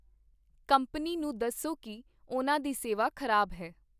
company ਨੂੰ ਦੱਸੋ ਕੀ ਉਹਨਾਂ ਦੀ ਸੇਵਾ ਖ਼ਰਾਬ ਹੈ